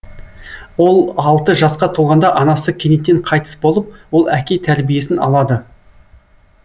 ол алты жасқа толғанда анасы кенеттен қайтыс болып ол әке тәрбиесін алады